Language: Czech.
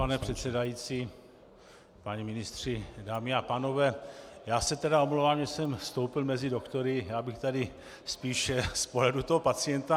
Pane předsedající, páni ministři, dámy a pánové, já se tedy omlouvám, že jsem vstoupil mezi doktory, já bych tady spíše z pohledu toho pacienta.